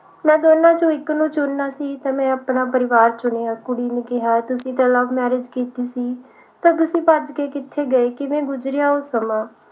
ਮੈਂ ਦੋਨਾਂ ਵਿਚੋਂ ਇਕ ਨੂੰ ਚੁਣਨਾ ਸੀ ਤਾਂ ਮੈਂ ਆਪਣਾ ਪਰਿਵਾਰ ਚੁਣਿਆ ਕੁੜੀ ਨੇ ਕਿਹਾ ਤੁਸੀਂ ਤੇ love marriage ਕੀਤੀ ਸੀ ਤਾਂ ਤੁਸੀ ਭੱਜ ਕੇ ਕਿਥੇ ਗਏ ਕਿਵੇਂ ਗੁਜਰਿਆ ਉਹ ਸਮਾਂ